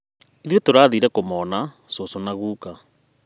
Ithuĩ tũrathire kũmona cũcũ na guka